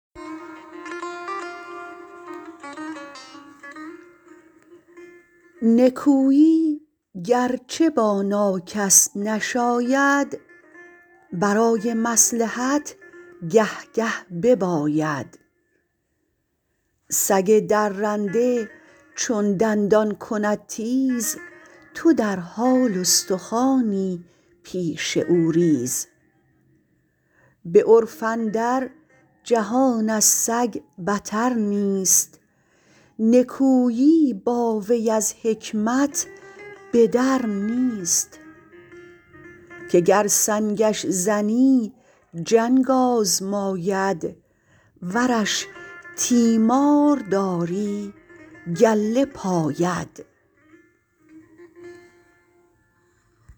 نکویی گرچه با ناکس نشاید برای مصلحت گه گه بباید سگ درنده چون دندان کند تیز تو در حال استخوانی پیش او ریز به عرف اندر جهان از سگ بتر نیست نکویی با وی از حکمت به در نیست که گر سنگش زنی جنگ آزماید ورش تیمار داری گله پاید